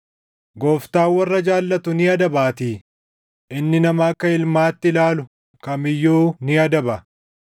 Gooftaan warra jaallatu ni adabaatii; inni nama akka ilmaatti ilaalu kam iyyuu ni adaba.” + 12:6 \+xt Fak 3:11,12\+xt*